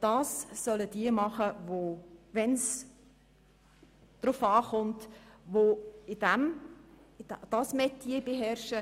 Dies sollen – wenn es darauf ankommt – jene tun, die dieses Metier beherrschen.